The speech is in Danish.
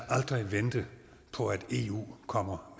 vente på at eu kommer